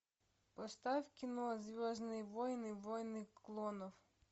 поставь кино звездные войны войны клонов